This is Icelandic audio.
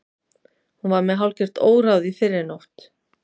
Hún var með hálfgert óráð í fyrrinótt.